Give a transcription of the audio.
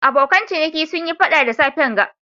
Abokan ciniki sun Yi fada da safen ga.